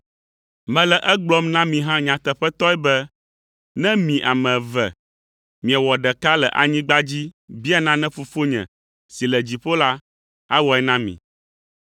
“Mele egblɔm na mi hã nyateƒetɔe be ne mi ame eve miewɔ ɖeka le anyigba dzi bia nane Fofonye si le dziƒo la, awɔe na mi.